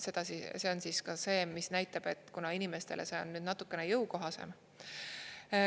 See on ka see, mis näitab, et kuna inimestele see on nüüd natukene jõukohasem.